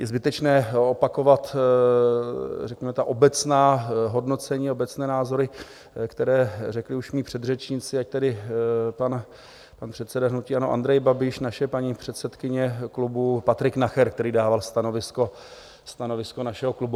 Je zbytečné opakovat, řekněme, ta obecná hodnocení, obecné názory, které řekli už mí předřečníci, ať tedy pan předseda hnutí ANO Andrej Babiš, naše paní předsedkyně klubu, Patrik Nacher, který dával stanovisko našeho klubu.